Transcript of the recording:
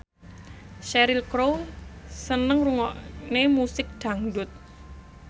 Cheryl Crow seneng ngrungokne musik dangdut